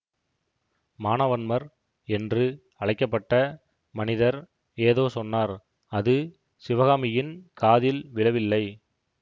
மானவன்மர் என்று அழைக்க பட்ட மனிதர் ஏதோ சொன்னார் அது சிவகாமியின் காதில் விழவில்லை